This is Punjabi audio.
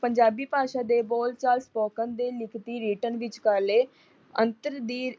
ਪੰਜਾਬੀ ਭਾਸ਼ਾ ਦੇ ਬੋਲ ਚਾਲ ਸੋਪਕਨ ਦੇ ਲਿਖਤੀ ਰਿਟਨ ਵਿਚਕਾਰਲੇ ਅੰਤਰ ਦੀ